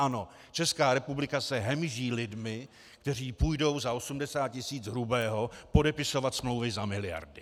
Ano, Česká republika se hemží lidmi, kteří půjdou za 80 tisíc hrubého podepisovat smlouvy za miliardy.